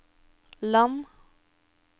land